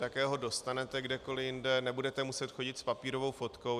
Také ho dostanete kdekoliv jinde, nebudete muset chodit s papírovou fotkou.